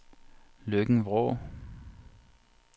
Løkken-Vrå